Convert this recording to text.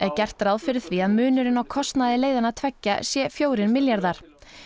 gert ráð fyrir því að munurinn á kostnaði leiðanna tveggja sé fjórir milljarðar